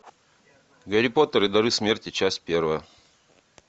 гарри поттер и дары смерти часть первая